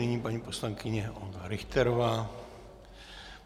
Nyní paní poslankyně Olga Richterová.